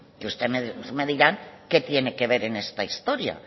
que ustedes me dirán qué tienen que ver en esta historia